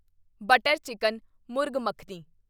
butter chicken murgh makhani